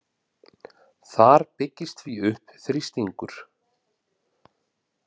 Þar byggist því upp þrýstingur.